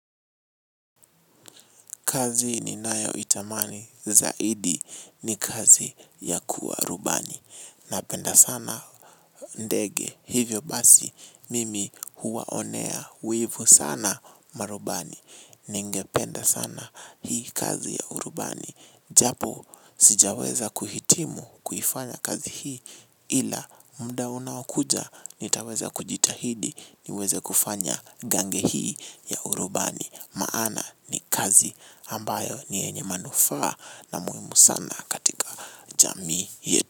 Kazi ninayoitamani zaidi ni kazi ya kuwa rubani. Napenda sana ndege hivyo basi mimi huwaonea wivu sana marubani. Ningependa sana hii kazi ya urubani. Japo sijaweza kuhitimu kuifanya kazi hii ila muda unaokuja nitaweza kujitahidi niweze kufanya gange hii ya urubani. Maana ni kazi ambayo ni yenye manufaa na muhimu sana katika jamii yetu.